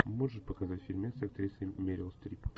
можешь показать фильмец с актрисой мерил стрип